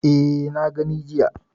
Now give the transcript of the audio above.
E, na gani jiya.